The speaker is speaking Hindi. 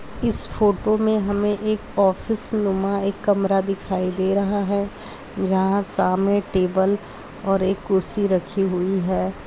इस फोटो में हमें एक ऑफिस नुमा एक कमरा दिखाई दे रहा है। जहाँ सामने टेबल और एक कुर्सी रखी हुई है।